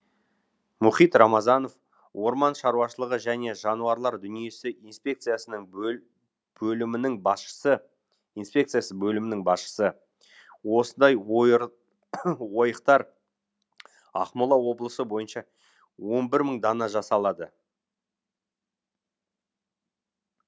мұхит рамазанов орман шаруашылығы және жануарлар дүниесі инспекциясының бөлімінің басшысы инспекциясы бөлімінің басшысы осындай ойықтар ақмола облысы бойынша он бір мың дана жасалады